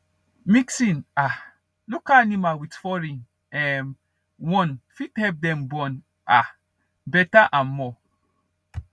mixing um local animal with with foreign um one fit help them born um better and more